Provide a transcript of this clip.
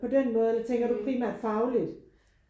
På den måde eller tænker du primært fagligt?